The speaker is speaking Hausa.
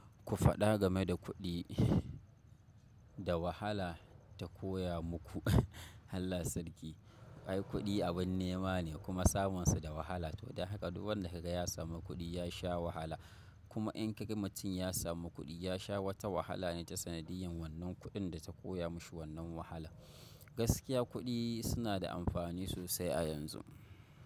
Ku faɗa game da kuɗi, da wahala ta koya muku. Allah sarki. Ai kuɗi abin nema ne kuma samunsa da wahala. To don haka duk wanda ka ga ya samu kuɗi ya sha wahala. Kuma in ka ga mutum ya samu kuɗi, ya sha wata wahala ne ta sanadiyan wannan kuɗin da ta koya mashi wannan wahala. Gaskiya kuɗi suna da amfani sosai a yanzu.